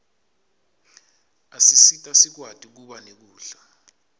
asisita sikwati kuba nekudla